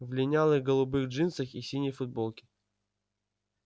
в линялых голубых джинсах и синей футболке